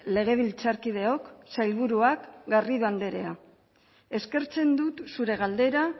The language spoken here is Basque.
legebiltzarkideok sailburuak garrido anderea eskertzen dut zure galdera